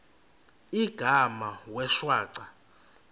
igama wee shwaca